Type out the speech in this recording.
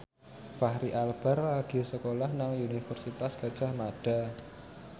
Fachri Albar lagi sekolah nang Universitas Gadjah Mada